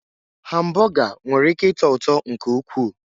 Hambọga nwere ị́ké ịtọ ụtọ nke ukwuu.